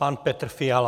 Pan Petr Fiala.